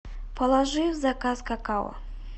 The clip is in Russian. положи в заказ какао